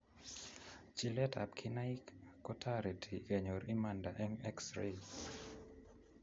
Chiletab kinaik kotareti kenyor imanda eng xray